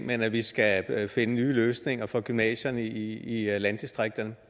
men at vi skal finde nye løsninger for gymnasierne i landdistrikterne